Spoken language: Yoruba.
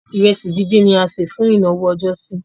Ìrẹsì díndín ni a se fún ìnáwó ọjọ́sí.